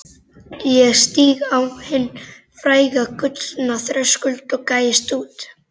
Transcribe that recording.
Ég stíg á hinn fræga gullna þröskuld og gægist út.